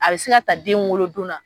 A bɛ se ka ta den wolodon na.